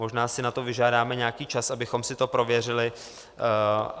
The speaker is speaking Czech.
Možná si na to vyžádáme nějaký čas, abychom si to prověřili.